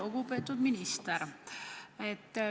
Lugupeetud minister!